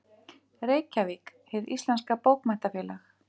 Reykjavík: Hið íslenska Bókmenntafélag.